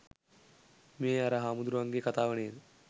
මේ අර හාමුදුරුවන් ගේ කතාව නේද?